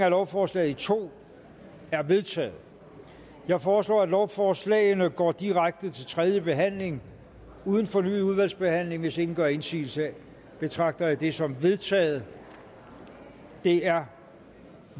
af lovforslaget i to er vedtaget jeg foreslår at lovforslagene går direkte til tredje behandling uden fornyet udvalgsbehandling hvis ingen gør indsigelse betragter jeg det som vedtaget det er